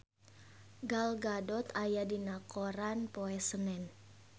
Gal Gadot aya dina koran poe Senen